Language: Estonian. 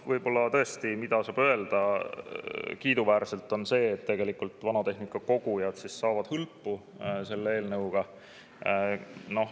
Ja tõesti saab öelda, et kiiduväärne on see, et tegelikult vanatehnika kogujad saavad hõlpu selle eelnõuga.